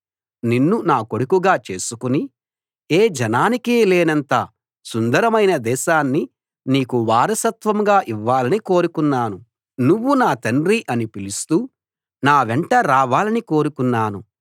నిన్ను నా కొడుకుగా చేసుకుని ఏ జనానికీ లేనంత సుందరమైన దేశాన్ని నీకు వారసత్వంగా ఇవ్వాలని కోరుకున్నాను నువ్వు నా తండ్రీ అని పిలుస్తూ నా వెంట రావాలని కోరుకున్నాను